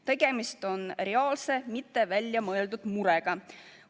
Tegemist on reaalse, mitte välja mõeldud murega.